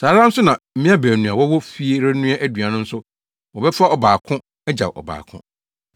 Saa ara nso na mmea baanu a wɔwɔ fie renoa aduan no nso, wɔbɛfa ɔbaako agyaw ɔbaako.